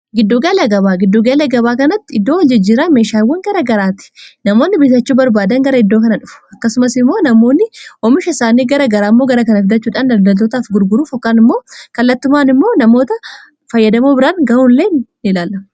giddugaala gabaa giddugala gabaa kanatti iddoo hol jijjira meeshaawwan gara garaati namoonni biritachuu barbaadan gara iddoo kana dhufu akkasumas immoo namoonni oomisha isaanii gara garaammoo gara kana fidachuudhaan daldaltootaaf gurguruu fokkaan immoo kallattumaan immoo namoota fayyadamoo biraan ga'uu illee niilaala